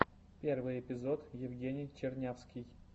первый эпизод евгений чернявский